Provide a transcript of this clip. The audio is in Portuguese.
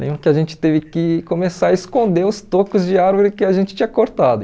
Lembro que a gente teve que começar a esconder os tocos de árvore que a gente tinha cortado.